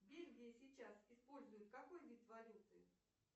в бельгии сейчас используют какой вид валюты